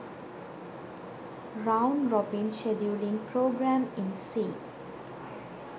round robin scheduling program in c